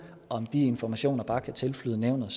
om de informationer bare kan tilflyde nævnet